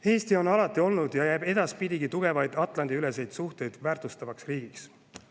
Eesti on alati olnud tugevaid Atlandi-üleseid suhteid väärtustav riik ja jääb selleks ka edaspidi.